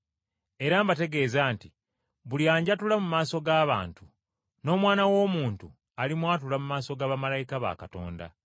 “Era mbategeeza nti buli anjatula mu maaso g’abantu, n’Omwana w’Omuntu, alimwatula mu maaso ga bamalayika ba Katonda.